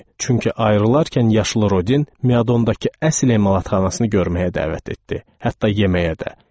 Çünki ayrılarkən yaşlı Rodin Miadondakı əsl emalatxanasını görməyə dəvət etdi, hətta yeməyə də.